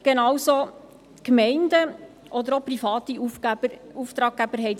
genauso haben dies sicher Gemeinden oder auch private Auftraggeber getan.